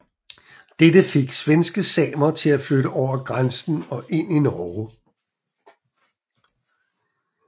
Dette fik svenske samer til at flytte over grænsen og ind i Norge